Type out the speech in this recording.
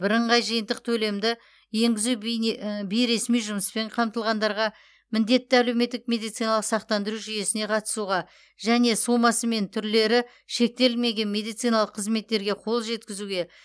бірыңғай жиынтық төлемді енгізу бейне і бейресми жұмыспен қамтылғандарға міндетті әлеуметтік медициналық сақтандыру жүйесіне қатысуға және сомасы мен түрлері шектелмеген медициналық қызметтерге қол жеткізуге